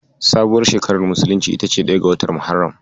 Sabuwar shekarar musulunci ita ce ɗaya ga watan Muharram.